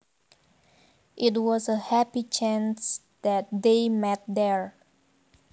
It was a happy chance that they met there